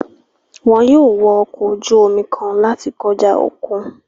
Wọn yóò wọ ọkọ ojú omi kan láti kọja okùn